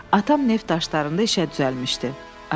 Atam neft daşlarında işə düzəlmişdi.